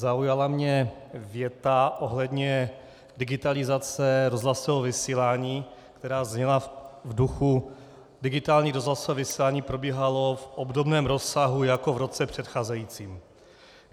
Zaujala mě věta ohledně digitalizace rozhlasového vysílání, která zněla v duchu: digitální rozhlasové vysílání probíhalo v obdobném rozsahu jako v roce předcházejícím.